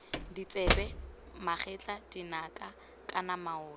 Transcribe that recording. ditsebe megatla dinaka kana maoto